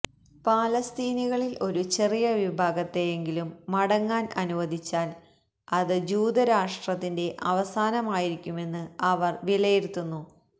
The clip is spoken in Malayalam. ഫലസ്തീനികളിൽ ഒരു ചെറിയ വിഭാഗത്തെയെങ്കിലും മടങ്ങാൻ അനുവദിച്ചാൽ അത് ജൂത രാഷ്ട്രത്തിന്റെ അവസാനമായിരിക്കുമെന്ന് അവർ വിലയിരുത്തുന്നു